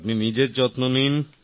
আপনি নিজের যত্ন নিন